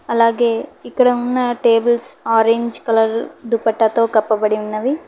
అలాగే ఇక్కడ ఉన్న టేబుల్స్ ఆరెంజ్ కలర్ దుపెట్టతో కప్పబడి ఉన్నది.